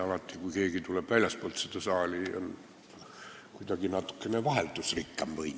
Alati, kui keegi tuleb siia väljastpoolt seda saali, on kuidagi natuke vaheldusrikkam või nii.